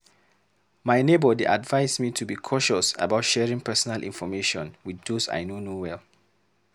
My neighbor dey advise me to be cautious about sharing personal information with those I no know well.